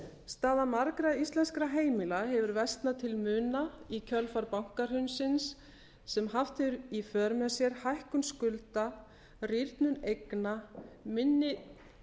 staða margra íslenskra heimila hefur versnað til muna í kjölfar bankahrunsins sem haft hefur í för með sér hækkun skulda rýrnun eigna minni